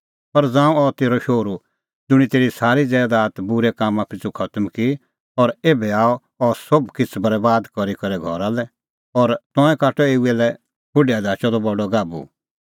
पर ज़ांऊं अह तेरअ शोहरू ज़ुंणी तेरी सारी ज़ैदात बूरै कामां पिछ़ू खतम की और एभै आअ अह सोभ किछ़ बरैबाद करी करै घरा लै और तंऐं काटअ एऊ लै खुंढी धाचअ द बडी नसलिओ गाभू